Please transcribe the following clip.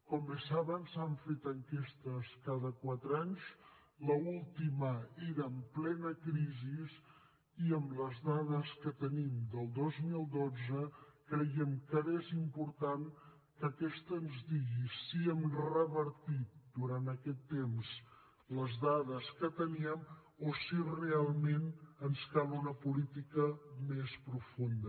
com bé saben s’han fet enquestes cada quatre anys l’última era en plena crisi i amb les dades que tenim del dos mil dotze creiem que ara és important que aquesta ens digui si hem revertit durant aquest temps les dades que teníem o si realment ens cal una política més profunda